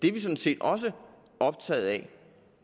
er sådan set også optaget af